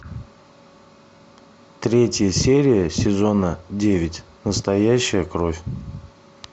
третья серия сезона девять настоящая кровь